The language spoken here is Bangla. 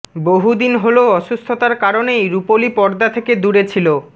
বহুদিন হল অসুস্থতার কারণেই রুপোলি পর্দা থেকে দূরে ছিল